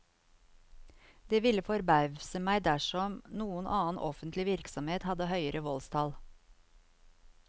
Det ville forbauset meg dersom noen annen offentlig virksomhet hadde høyere voldstall.